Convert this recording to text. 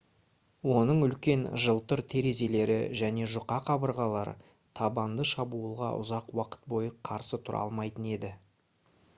оның үлкен жылтыр терезелері және жұқа қабырғалары табанды шабуылға ұзақ уақыт бойы қарсы тұра алмайтын еді